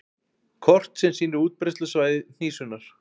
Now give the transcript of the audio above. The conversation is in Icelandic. Kort sem sýnir útbreiðslusvæði hnísunnar.